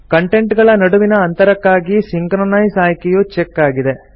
content ಗಳ ನಡುವಿನ ಅಂತರಕ್ಕಾಗಿ ಸಿಂಕ್ರೊನೈಜ್ ಆಯ್ಕೆಯು ಚೆಕ್ ಆಗಿದೆ